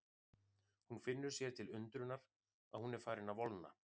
Hún finnur sér til undrunar að hún er farin að volgna.